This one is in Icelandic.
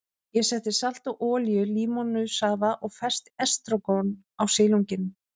Ég setti salt og olíu, límónusafa og ferskt estragon á silunginn.